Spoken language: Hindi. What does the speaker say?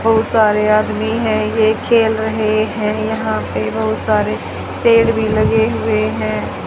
बहुत सारे आदमी है ये खेल रहे हैं यहां पे बहुत सारे पेड़ भी लगे हुए हैं।